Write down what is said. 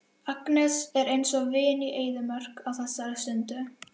Agnes er eins og vin í eyðimörk á þessari stundu.